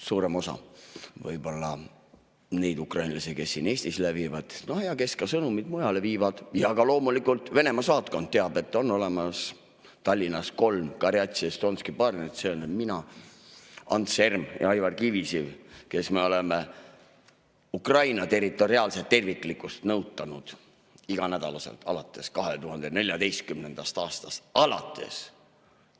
Suurem osa neid ukrainlasi, kes siin Eestis lävivad ja kes ka sõnumeid mujale viivad, ja loomulikult ka Venemaa saatkond teab, et on olemas Tallinnas gorjatšije estonskije parni: mina, Ants Erm ja Aivar Kivisiv, kes me oleme Ukraina territoriaalset terviklikkust nõutanud iganädalaselt alates 2014. aastast alates.